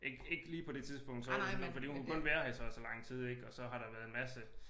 Ikke lige på det tidspunkt så fordi hun kunne kun være her i så og så lang tid ik og så har der været en masse